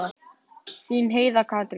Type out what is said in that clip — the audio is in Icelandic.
Þín Heiða Katrín.